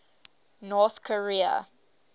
north korea